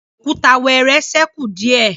Òkúta wẹẹrẹ sẹku diẹ